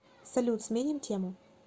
салют сменим тему